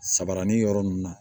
Sabarani yɔrɔ ninnu na